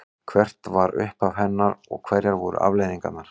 Hvert var upphaf hennar og hverjar voru afleiðingarnar?